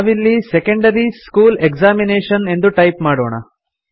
ನಾವಿಲ್ಲಿ secondary school examination ಎಂದು type ಮಾಡೋಣ